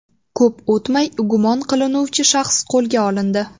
Ko‘p o‘tmay gumon qilinuvchi shaxs qo‘lga olindi.